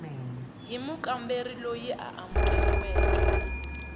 hi mukamberi loyi a amukeriweke